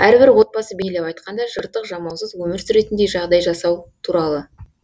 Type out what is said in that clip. әрбір отбасы бейлеп айтқанда жыртық жамаусыз өмір сүретіндей жағдай жасау туралы